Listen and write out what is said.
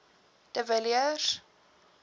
de villiers